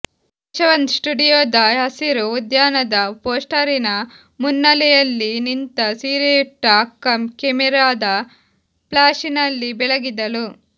ಯಶವಂತ್ ಸ್ಟುಡಿಯೋದ ಹಸಿರು ಉದ್ಯಾನದ ಪೋಸ್ಟರಿನ ಮುನ್ನೆಲೆಯಲ್ಲಿ ನಿಂತ ಸೀರೆಯುಟ್ಟ ಅಕ್ಕ ಕೆಮೆರಾದ ಫ್ಲಾಶಿನಲ್ಲಿ ಬೆಳಗಿದಳು